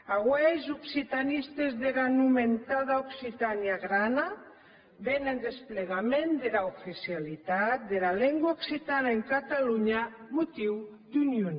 aué es occitanistes dera nomentada occitània grana ven en desplegament dera oficialitat dera lengua occitana en catalonha motiu d’union